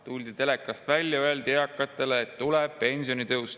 Tuldi telekast välja, öeldi eakatele, et tuleb pensionitõus.